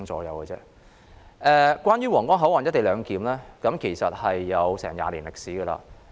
有關在皇崗口岸實施"一地兩檢"安排的討論其實已有20年歷史。